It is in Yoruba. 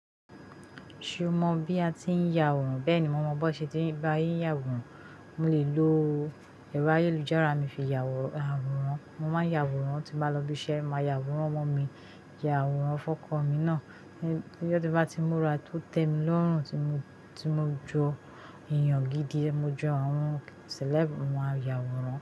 Ṣé o mọ̀ bí a ti ń ya àwòrán? Bẹ́ẹ̀ni, mo mọ̀ bó ṣe ti ń bá yín yàwòrán. Mo lè lo ẹ̀rọ ayélujára mi fi ya àwòrán, mo máa nyà àwòrán tí mbá lọ ibi iṣẹ́, màá ya àwòrán ọmọ mi, ya àwòrán fọ́kọ́ mi náà. Láyé tó bá ti múra tó tẹ́ mi lọ́rùn tí mo, tí mo jó èèyàn gidi, mo jó àwọn celeb, mo máa ya àwòrán.